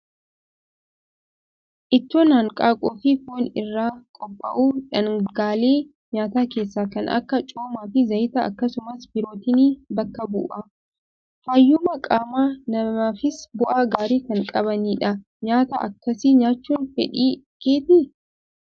Ittoon hanqaaquu fi foon irraa qophaa'u, dhaangaalee nyaataa keessaa kan akka coomaa fi zayitaa akkasumas pirootinii bakka bu'a. Fayyummaa qaama namaafis bu'aa gaarii kan qabanidha. Nyaata akkasii nyaachuun fedhii keetii?